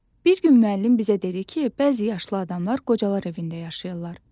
Bir gün müəllim bizə dedi ki, bəzi yaşlı adamlar qocalar evində yaşayırlar.